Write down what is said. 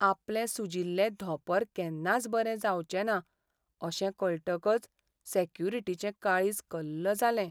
आपलें सुजिल्लें धोंपर केन्नाच बरें जावचें ना अशें कळटकच सॅक्युरिटीचें काळीज कल्ल जालें.